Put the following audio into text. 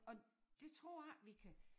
Og det tror jeg ikke vi kan